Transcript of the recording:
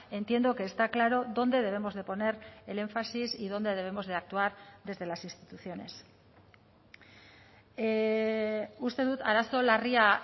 entiendo que está claro dónde debemos de poner el énfasis y dónde debemos de actuar desde las instituciones uste dut arazo larria